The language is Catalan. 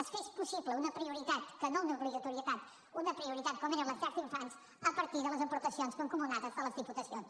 es fes possible una prioritat que no una obligatorietat una prioritat com eren les llars d’infants a partir de les aportacions mancomunades de les diputacions